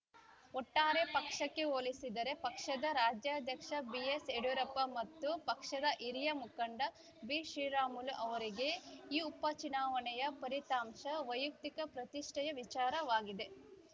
ಒಟ್ಟಾರೆ ಪಕ್ಷಕ್ಕೆ ಹೋಲಿಸಿದರೆ ಪಕ್ಷದ ರಾಜ್ಯಾಧ್ಯಕ್ಷ ಬಿಎಸ್‌ಯಡುರಪ್ಪ ಮತ್ತು ಪಕ್ಷದ ಹಿರಿಯ ಮುಖಂಡ ಬಿಶ್ರೀರಾಮುಲು ಅವರಿಗೆ ಈ ಉಪಚುನಾವಣೆಯ ಫಲಿತಾಂಶ ವೈಯಕ್ತಿಕ ಪ್ರತಿಷ್ಠೆಯ ವಿಚಾರವಾಗಿದೆ